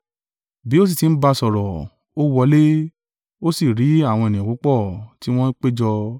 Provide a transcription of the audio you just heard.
Bí ó sì ti ń bá a sọ̀rọ̀, ó wọlé ó sì rí àwọn ènìyàn púpọ̀ tí wọ́n péjọ.